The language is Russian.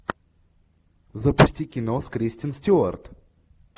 запусти кино с кристен стюарт